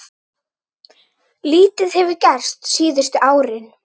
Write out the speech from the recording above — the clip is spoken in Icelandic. Lítið hefur gerst síðustu árin.